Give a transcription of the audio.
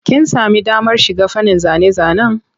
Kin sami damar shiga fannin zane-zanen?